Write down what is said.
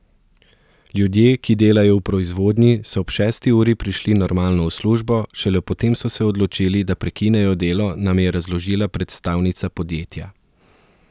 Ljudje, ki delajo v proizvodnji, so ob šesti uri prišli normalno v službo, šele potem so se odločili, da prekinejo delo, nam je razložila predstavnica podjetja.